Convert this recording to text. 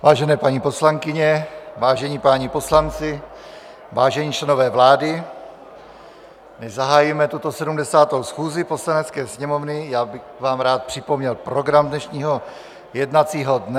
Vážené paní poslankyně, vážení páni poslanci, vážení členové vlády, než zahájíme tuto 70. schůzi Poslanecké sněmovny, já bych vám rád připomněl program dnešního jednacího dne.